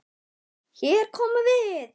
Hér komum við!